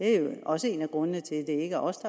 er jo også en af grundene til at det ikke er os